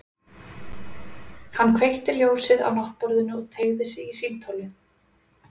Hann kveikti ljósið á náttborðinu og teygði sig í símtólið.